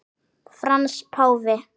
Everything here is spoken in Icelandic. Frans páfi